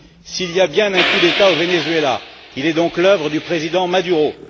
S'il y a bien un coup d'État au Venezuela, il est donc l'œuvre du président Maduro.